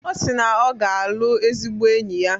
Ọ si na ọ ga-alụ ezigbo enyi ya.